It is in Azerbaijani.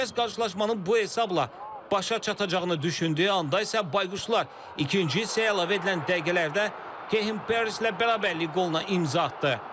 Hər kəs qarşılaşmanın bu hesabla başa çatacağını düşündüyü anda isə Bayquşlar ikinci hissəyə əlavə edilən dəqiqələrdə Kehin Peres ilə bərabərlik qoluna imza atdı.